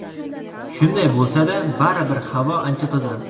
Shunday bo‘lsa-da, baribir havo ancha toza.